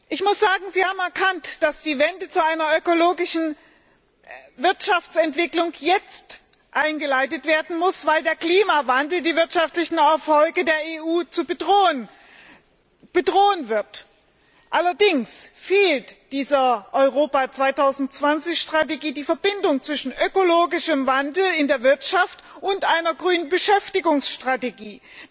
Ich muss sagen, Sie haben erkannt, dass die Wende zu einer ökologischen Wirtschaftsentwicklung jetzt eingeleitet werden muss, weil der Klimawandel die wirtschaftlichen Erfolge der EU bedrohen wird. Allerdings fehlt der Strategie Europa 2020 die Verbindung zwischen ökologischem Wandel in der Wirtschaft und einer grünen Beschäftigungsstrategie.